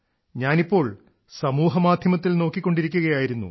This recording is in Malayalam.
ഞാൻ ഇപ്പോൾ സാമൂഹ്യമാധ്യമത്തിൽ നോക്കിക്കൊണ്ടിരിക്കുകയായിരുന്നു